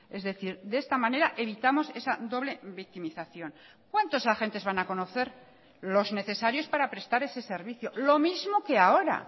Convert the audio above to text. es decir de esta manera evitamos esa doble victimización cuántos agentes van a conocer los necesarios para prestar ese servicio lo mismo que ahora